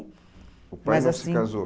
O pai não se casou?